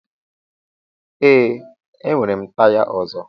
Ee, enwere m taya ọzọ.